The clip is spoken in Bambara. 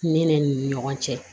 Ne ne ni ɲɔgɔn cɛ